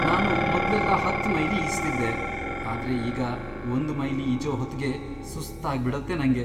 ನಾನು ಮೊದ್ಲೆಲ್ಲ ಹತ್ತ್ ಮೈಲಿ ಈಜ್ತಿದ್ದೆ, ಆದ್ರೆ ಈಗ ಒಂದ್ ಮೈಲಿ ಈಜೋ ಹೊತ್ಗೇ ಸುಸ್ತಾಗ್ಬಿಡತ್ತೆ ನಂಗೆ.